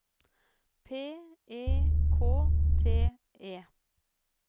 P E K T E